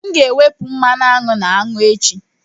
M ga-ewepụta mmanụ aṅụ na aṅụ echi.